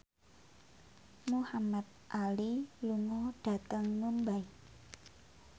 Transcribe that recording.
Muhamad Ali lunga dhateng Mumbai